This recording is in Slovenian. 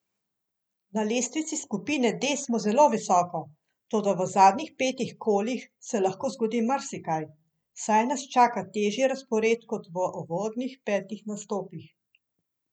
Na lestvici skupine D smo zelo visoko, toda v zadnjih petih kolih se lahko zgodi marsikaj, saj nas čaka težji razpored kot v uvodnih petih nastopih.